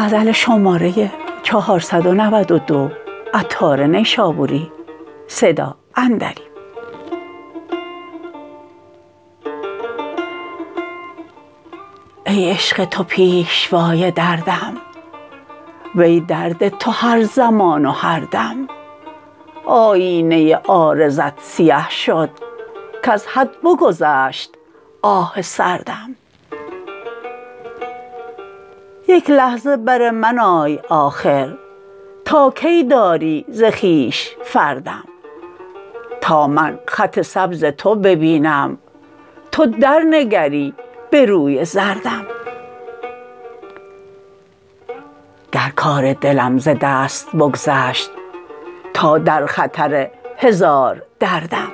ای عشق تو پیشوای دردم وی درد تو هر زمان و هر دم آیینه عارضت سیه شد کز حد بگذشت آه سردم یک لحظه بر من آی آخر تا کی داری ز خویش فردم تا من خط سبز تو ببینم تو درنگری به روی زردم گر کار دلم ز دست بگذشت تا در خطر هزار دردم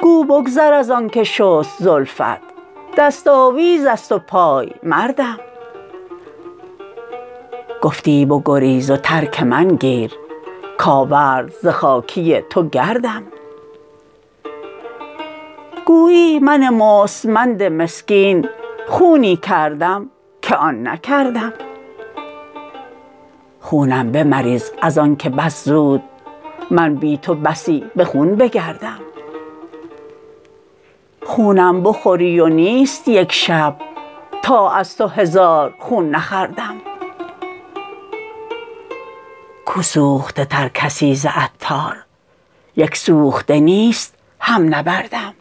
گو بگذر از آنکه شست زلفت دست آویز است و پایمردم گفتی بگریز و ترک من گیر کاورد ز خاکی تو گردم گویی من مستمند مسکین خونی کردم که آن نکردم خونم به مریز از آنکه بس زود من بی تو بسی به خون بگردم خونم بخوری و نیست یک شب تا از تو هزار خون نخوردم کو سوخته تر کسی ز عطار یک سوخته نیست هم نبردم